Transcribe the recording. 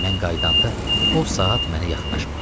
Mən qaydanda o saat mənə yaxınlaşma.